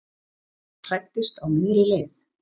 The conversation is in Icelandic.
Hræddist á miðri leið